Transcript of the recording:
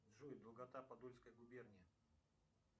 джой долгота подольской губернии